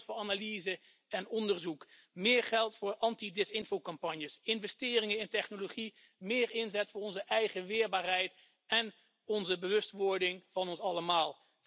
Meer geld voor analyse en onderzoek, meer geld voor antidesinformatiecampagnes, investeringen in technologie, meer inzet voor onze eigen weerbaarheid en onze bewustwording van ons allemaal.